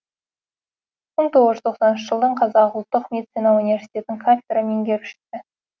мың тоғыз жүз тоқсаныншы жылдан қазақ ұлттық медицина университетінің кафедра меңгерушісі